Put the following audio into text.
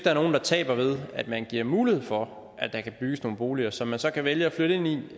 er nogen der taber ved at man giver mulighed for at der kan bygges nogle boliger som man så kan vælge at flytte ind i